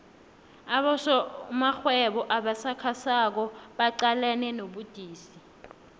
abosomarhwebo abasakhasako baqalene nobudisi